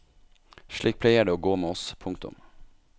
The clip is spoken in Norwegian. Slik pleier det å gå med oss. punktum